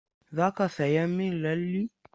Za ka sayan min lalle?